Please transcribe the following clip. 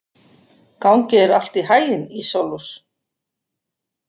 Gangi þér allt í haginn, Ísólfur.